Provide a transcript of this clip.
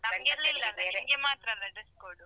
ನಮ್ಗೆಲ್ಲಾ ಇಲ್ಲ ಅಲ್ಲ ನಿಮ್ಗೆ ಮಾತ್ರ ಅಲ್ಲ dress code .